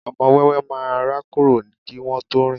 ọmọ ọwọ́ máà ń rákòrò kí wọn tó rìn